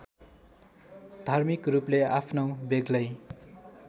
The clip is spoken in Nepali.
धार्मिकरूपले आफ्नो बेग्लै